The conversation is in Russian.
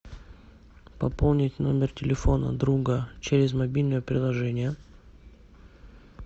пополнить номер телефона друга через мобильное приложение